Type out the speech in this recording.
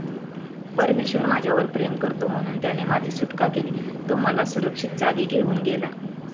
परमेश्वर माझ्यावर प्रेम करतो. म्हणून त्याने माझी सुटका केली. तो मला सुरक्षित जागी घेऊन गेला.